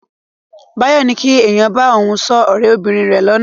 Báyọ̀ ní kí èèyàn bá òun sọ ọ̀rẹ́ bìnrin rẹ̀ lánàá.